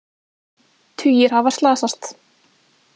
Tugir hafa slasast